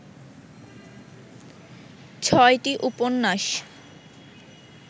ছয়টি উপন্যাস